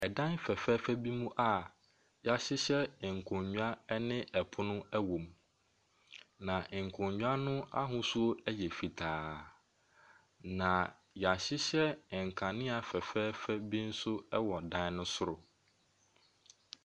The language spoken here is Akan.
ℇdan fɛɛfɛɛfɛ bi mu a yɛahyehyɛ nkonnwa ɛne ɛpono wɔ mu. Na nkonnwa no ahosuo yɛ fitaa. Na yɛahyehyɛ nkanea fɛɛfɛɛfɛ bi nso wɔ ɛdan no soro.